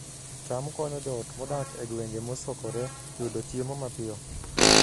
cham konyo joot modak e gwenge mosokore yudo chiemo mapiyo